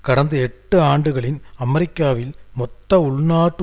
கடந்த எட்டு ஆண்டுகளின் அமெரிக்காவில் மொத்த உள்நாட்டு